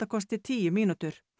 kosti tíu mínútur